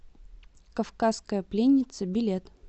кавказская пленница билет